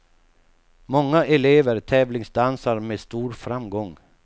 Många elever tävlingsdansar med stor framgång.